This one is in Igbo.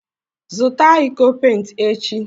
Zụta iko pent echi!